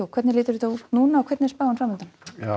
hvernig lítur þetta út núna og hvernig er spáin fram undan